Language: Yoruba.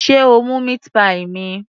Sé o mú meat pie mi?